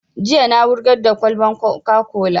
Jiya na wurgar da kwalaban coca-cola